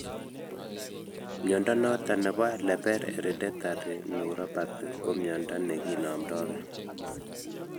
Mnyondo noton nebo Leber hereditary neuropathy ko mnyondo neki nomndo gee